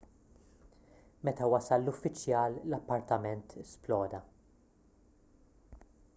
meta wasal l-uffiċjal l-appartament sploda